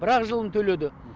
бірақ жылын төледі